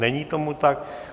Není tomu tak.